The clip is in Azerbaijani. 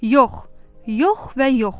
Yox, yox və yox.